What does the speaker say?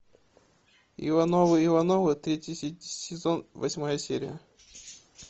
ивановы ивановы третий сезон восьмая серия